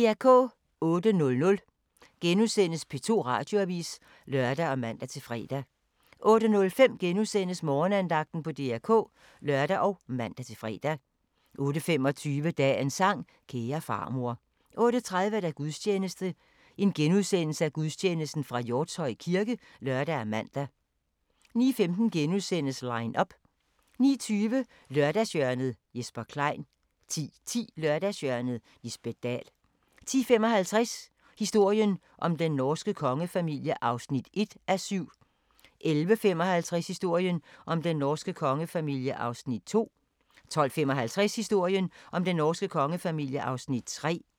08:00: P2 Radioavis *(lør og man-fre) 08:05: Morgenandagten på DR K *(lør og man-fre) 08:25: Dagens sang: Kære farmor 08:30: Gudstjeneste fra Hjortshøj kirke *(lør og man) 09:15: Line up * 09:20: Lørdagshjørnet - Jesper Klein 10:10: Lørdagshjørnet - Lisbet Dahl 10:55: Historien om den norske kongefamilie (1:7) 11:55: Historien om den norske kongefamilie (2:7) 12:55: Historien om den norske kongefamilie (3:7)